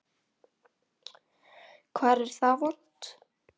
Hvar er það vont?